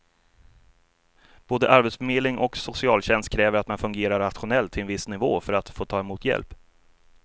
Både arbetsförmedling och socialtjänst kräver att man fungerar rationellt till en viss nivå för att få ta emot hjälp.